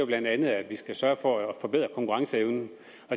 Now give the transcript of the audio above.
bla at vi skal sørge for at forbedre konkurrenceevnen